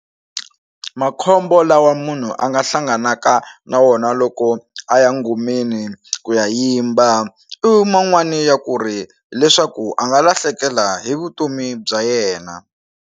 Makhombo lawa munhu a nga hlanganaka na wona loko a ya ngomeni ku ya yimba i man'wani ya ku ri leswaku a nga lahlekela hi vutomi bya yena.